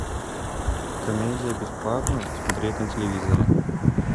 комедия бесплатно смотреть на телевизоре